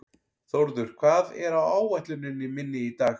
Þórður, hvað er á áætluninni minni í dag?